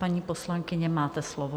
Paní poslankyně, máte slovo.